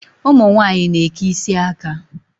Ụmụ nwaanyị na-eke isi aka.